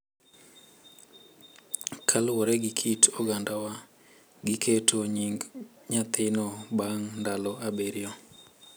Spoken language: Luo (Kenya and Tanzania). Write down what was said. Kaluwore gi kit ogandawa, giketo nying nyathino bang’ ndalo abiriyo,